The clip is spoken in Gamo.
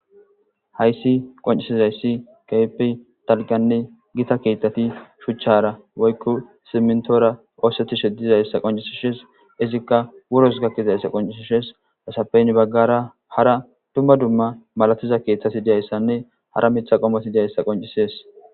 Hayssi qonccissizayssi keehippe dalgganne githa keeththathi shuchchaara woykko siminththoora ooseththishe dizayssa qonccissishe des; izikka wuros gakkizayssa qonccissishe des; isappe ya baggara hara dzumma dzumma malathiza keeththathi diyayssanne hara miththa qommothi deyayssa qonccissees.